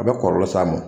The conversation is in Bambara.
A bɛ kɔlɔlɔ s'a ma